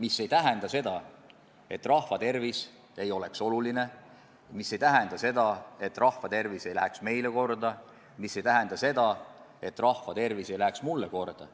Ent see ei tähenda seda, et rahva tervis ei ole meile oluline, et rahva tervis ei lähe meile korda, et rahva tervis ei läheks mulle korda.